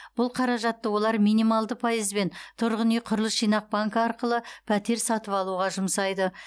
бұл қаражатты олар минималды пайызбен тұрғын үй құрылыс жинақ банкі арқылы пәтер сатып алуға жұмсайды